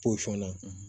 na